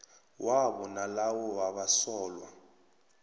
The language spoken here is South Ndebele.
wabo nalawo wabasolwa